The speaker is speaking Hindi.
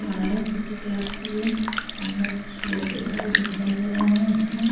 वालय सिटी क्लब की ये अन्दर कुछ लोग बैठे हुए दिखाई दे रहै है इसमें --